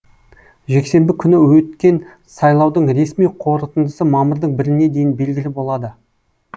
жексенбі күні өткен сайлаудың ресми қорытындысы мамырдың біріне дейін белгілі болады